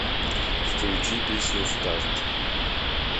включи песню старт